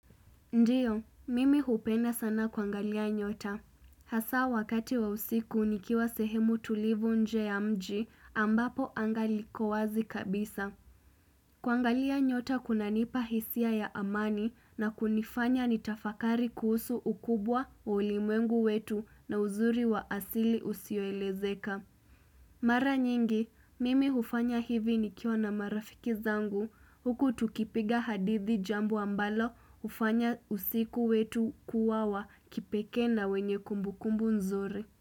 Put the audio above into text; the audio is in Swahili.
Ndio, mimi hupenda sana kuangalia nyota. Hasa wakati wa usiku nikiwa sehemu tulivu nje ya mji ambapo anga liko wazi kabisa. Kuangalia nyota kuna nipa hisia ya amani na kunifanya nitafakari kuhusu ukubwa wa ulimwengu wetu na uzuri wa asili usioelezeka. Mara nyingi, mimi hufanya hivi nikiwa na marafiki zangu huku tukipiga hadithi jambo ambalo hufanya usiku wetu kuwa wa kipekee na wenye kumbukumbu nzuri.